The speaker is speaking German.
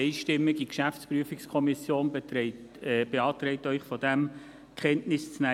Die jeweils einstimmige GPK beantragt Ihnen, von diesen Kenntnis zu nehmen.